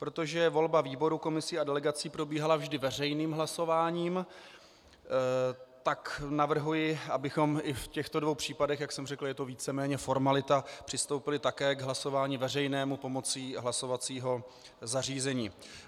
Protože volba výborů, komisí a delegací probíhala vždy veřejným hlasováním, tak navrhuji, abychom i v těchto dvou případech - jak jsem řekl, je to víceméně formalita - přistoupili také k hlasování veřejnému pomocí hlasovacího zařízení.